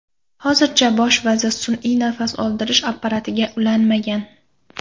Hozircha bosh vazir sun’iy nafas oldirish apparatiga ulanmagan.